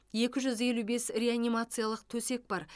екі жүз елу бес реанимациялық төсек бар